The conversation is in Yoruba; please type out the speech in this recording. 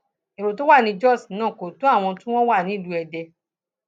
èrò tó wà ní jóṣ náà kò tó àwọn tí wọn wà ní ìlú èdè